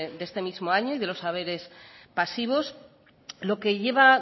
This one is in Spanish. de este mismo año y de los haberes pasivos lo que lleva